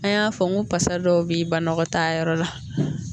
An y'a fɔ n ko pasa dɔw bɛ banakɔ taa yɔrɔ la